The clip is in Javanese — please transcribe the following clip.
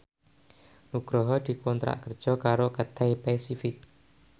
Nugroho dikontrak kerja karo Cathay Pacific